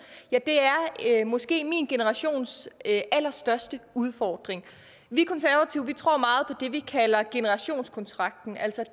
er måske min generations allerstørste udfordring vi konservative tror meget på det vi kalder generationskontrakten altså